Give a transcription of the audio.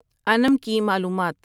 انعم کی معلومات